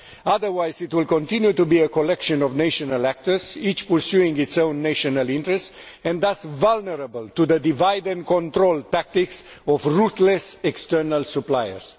Otherwise, it will continue to be a collection of national actors, each pursuing its own national interests, and thus vulnerable to the divide and control tactics of ruthless external suppliers.